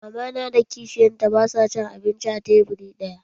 Mama na da kishiyarta basu cin abinci a teburi ɗaya.